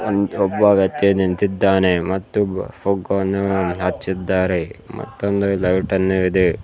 ಒಬ್ಬ ವ್ಯಕ್ತಿ ನಿಂತಿದ್ದಾನೆ ಮತ್ತು ಪುಗ್ಗವನ್ನು ಹಚ್ಚಿದ್ದಾರೆ ಮತ್ತೊಂದು ಲೈಟ್ ಅನ್ನು ಇದೆ.